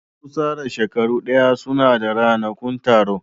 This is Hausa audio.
Wasu tsara shekaru daya suna da ranakun taro